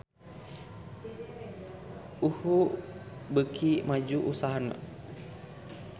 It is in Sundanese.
UHU beuki maju usahana